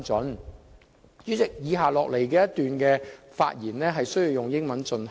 代理主席，以下一段發言需要以英文進行。